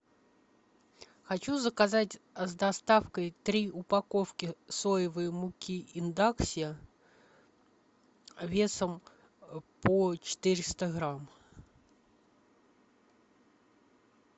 хочу заказать с доставкой три упаковки соевой муки эндакси весом по четыреста грамм